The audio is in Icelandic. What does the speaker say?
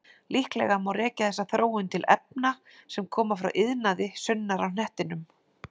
Líklega má rekja þessa þróun til efna sem koma frá iðnaði sunnar á hnettinum.